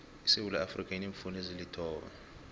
isewuula iafrika ineemfunda ezilithoba